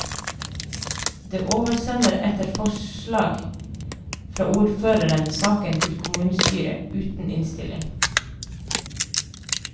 Det oversender etter forslag fra ordføreren saken til kommunestyret uten innstilling.